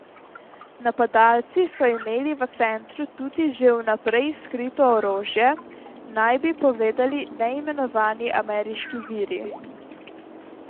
Napadalci so imeli v centru tudi že vnaprej skrito orožje, naj bi povedali neimenovani ameriški viri.